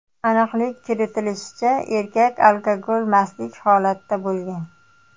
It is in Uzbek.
Aniqlik kiritilishicha, erkak alkogol mastlik holatida bo‘lgan.